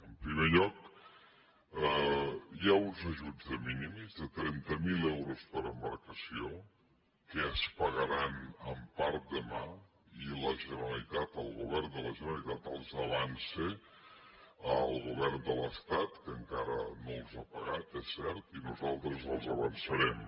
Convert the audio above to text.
en primer lloc hi ha uns ajuts de minimis de trenta mil euros per embarcació que es pagaran en part demà i la generalitat el govern de la generalitat els avança al govern de l’estat que encara no els ha pagat és cert i nosaltres els avançarem